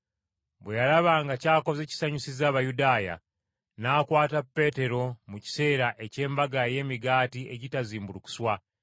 Bwe yalaba nga ky’akoze kisanyusizza Abayudaaya, n’akwata Peetero mu kiseera eky’Embaga ey’Emigaati Egitazimbulukuswa